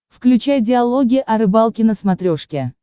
включай диалоги о рыбалке на смотрешке